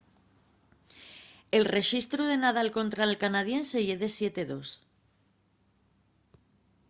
el rexistru de nadal contra’l canadiense ye de 7-2